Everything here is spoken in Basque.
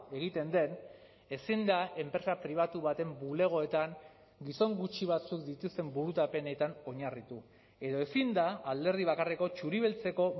egiten den ezin da enpresa pribatu baten bulegoetan gizon gutxi batzuk dituzten burutapenetan oinarritu edo ezin da alderdi bakarreko txuri beltzeko